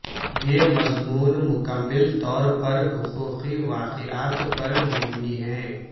یہ مضمون مکمل طور پر حقیقی واقعات پر مبنی ہے